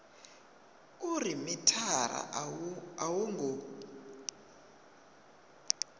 uri mithara a wo ngo